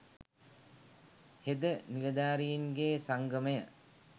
හෙද නිලධාරින්ගේ සංගමය